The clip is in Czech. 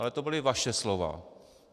Ale to byla vaše slova.